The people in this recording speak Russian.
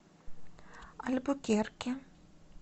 альбукерке